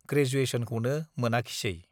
ग्रेजुयेसनखौनो मोनाखिसै।